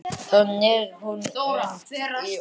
Þá hneig hún inn í ósinn.